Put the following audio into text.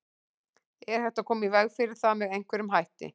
Er hægt að koma í veg fyrir það með einhverjum hætti?